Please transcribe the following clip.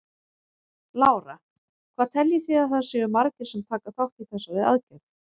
Lára: Hvað teljið þið að það séu margir sem taka þátt í þessari aðgerð?